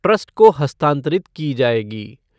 Trust को हस्तांतरित की जाएगी।